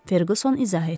Ferqson izah etdi.